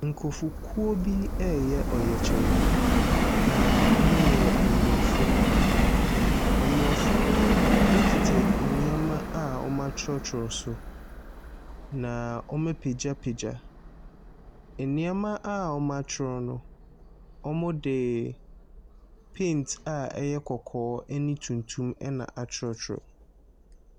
Nkurɔfokuo bi reyɛ ɔyɛkyerɛ, na wɔyɛ Aborɔfo. Aborɔfo no kita nneɛma a wɔatwerɛtwerɛ so. Na wɔapagyapagya nneɛma a wɔatwerɛ no, wɔdeee Paint a ɛyɛ kɔkɔɔ ne tuntum na atwerɛtwerɛ.